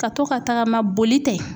Ka to ka tagama boli tɛ